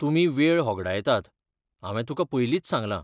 तुमी वेळ होगाडयतात, हांवें तुकां पयलींच सांगलां.